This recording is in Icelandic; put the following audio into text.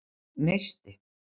Neisti